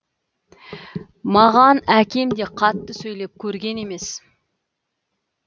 маған әкем де қатты сөйлеп көрген емес